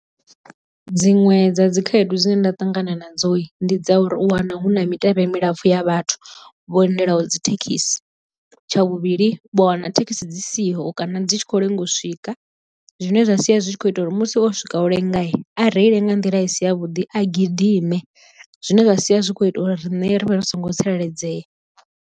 Dziṅwe dza dzi khaedu dzine nda ṱangana nadzo ndi dza uri u wana hu na mitevhe milapfu ya vhathu vho lindelaho dzi thekhisi. Tsha vhuvhili vha wana thekhisi dzi siho kana dzi tshi khou lenga u swika zwine zwa sia zwi tshi kho ita uri musi o swika u lenga a reile nga nḓila i si ya vhuḓi a gidime zwine zwa sia zwi kho ita uri riṋe rivhe ri songo tsireledzea.